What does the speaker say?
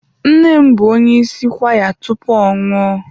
Nne m bụ onye isi kwaya tupu ọ nwụọ.